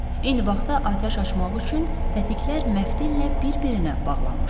Eyni vaxtda atəş açmaq üçün tətiklər məftillə bir-birinə bağlanmışdı.